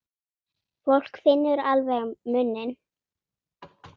Fólk finnur alveg muninn.